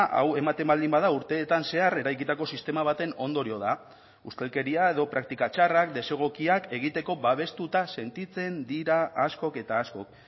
hau ematen baldin bada urteetan zehar eraikitako sistema baten ondorio da ustelkeria edo praktika txarrak desegokiak egiteko babestuta sentitzen dira askok eta askok